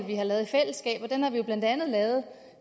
vi har lavet i fællesskab og den har vi blandt andet lavet